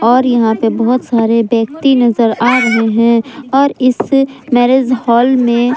और यहां पे बहुत सारे व्यक्ति नजर आ रहे हैं और इस मैरिज हॉल में --